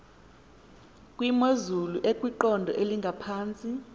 kwimozulu ekwiqondo elingaphantsi